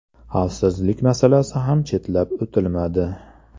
Xavfsizlik masalasi ham chetlab o‘tilmadi.